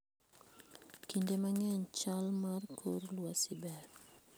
Kinde mang'eny, chal mar kor lwasi ber.